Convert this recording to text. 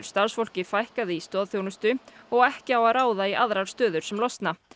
starfsfólki fækkað í stoðþjónustu og ekki á að ráða í aðrar stöður sem losna